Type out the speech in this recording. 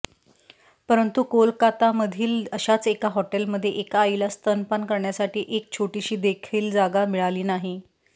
परंतु कोलकातामधील अशाच एका हॉटेलमध्ये एका आईला स्तनपान करण्यासाठी एक छोटीशी देखील जागा मिळाली नाही